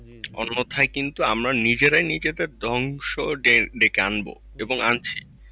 অন্যথায় কিন্তু আমরা নিজেরাই নিজেদের ধ্বংস ডেকে ডেকে আনবো এবং আনছি।